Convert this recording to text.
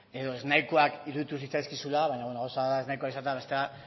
edo ez nahikoak iruditu zitzaizkizula baina bueno gauza bat da ez nahikoak izatea eta bestea